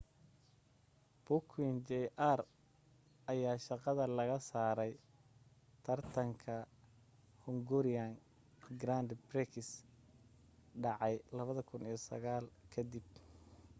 piquet jr ayaa shaqada laga saaray taratanka hungarian grand prix dhacay 2009 ka dib